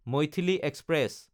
Maithili express